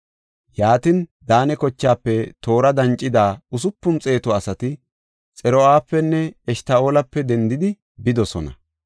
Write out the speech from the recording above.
Yaatin, Daane kochaafe toora dancida usupun xeetu asati Xor7apenne Eshta7oolape dendidi bidosona.